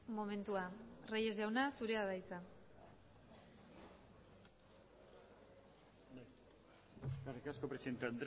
momentua reyes jauna zurea da hitza eskerrik asko presidente